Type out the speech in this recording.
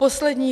Poslední.